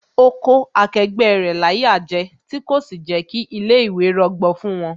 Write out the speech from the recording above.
Ó kó akẹgbẹ́ rẹ̀ láyà jẹ, tí kò sì jẹ́ kí ilé ìwé rọgbọ fún wón